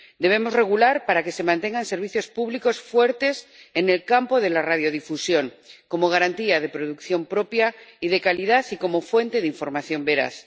Debemos regular para que se mantengan servicios públicos fuertes en el campo de la radiodifusión, como garantía de producción propia y de calidad, y como fuente de información veraz.